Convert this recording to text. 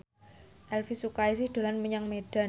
Elvy Sukaesih dolan menyang Medan